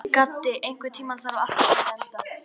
Gaddi, einhvern tímann þarf allt að taka enda.